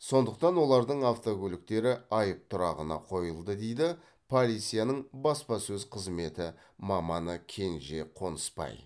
сондықтан олардың автокөліктері айып тұрағына қойылды дейді полицияның баспасөз қызметі маманы кенже қонысбай